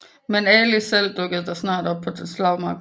Men Ali selv dukkede snart op på slagmarken